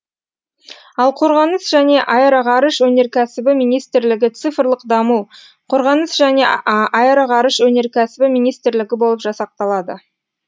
ал қорғаныс және аэроғарыш өнеркәсібі министрлігі цифрлық даму қорғаныс және аэроғарыш өнеркәсібі министрлігі болып жасақталады